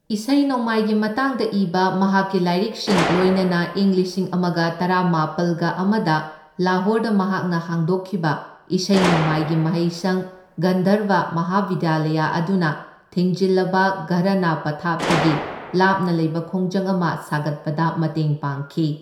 ꯏꯁꯩ ꯅꯣꯡꯃꯥꯏꯒꯤ ꯃꯇꯥꯡꯗ ꯏꯕ ꯃꯍꯥꯛꯀꯤ ꯂꯥꯏꯔꯤꯛꯁꯤꯡ, ꯂꯣꯏꯅꯅ ꯏꯪ ꯂꯤꯁꯤꯡ ꯑꯃꯒ ꯇꯔꯥꯃꯥꯄꯜꯒ ꯑꯃꯗ ꯂꯥꯍꯣꯔꯗ ꯃꯍꯥꯛꯅ ꯍꯥꯡꯗꯣꯛꯈꯤꯕ ꯏꯁꯩ ꯅꯣꯡꯃꯥꯏꯒꯤ ꯃꯍꯩꯁꯪ ꯒꯟꯙꯔꯕ ꯃꯍꯥꯕꯤꯗ꯭ꯌꯥꯂꯌ ꯑꯗꯨꯅ, ꯊꯤꯡꯖꯤꯜꯂꯕ ꯘꯔꯥꯅꯥ ꯄꯊꯥꯞꯇꯒꯤ ꯂꯥꯞꯅ ꯂꯩꯕ ꯈꯣꯡꯖꯪ ꯑꯃ ꯁꯥꯒꯠꯄꯗ ꯃꯇꯦꯡ ꯄꯥꯡꯈꯤ꯫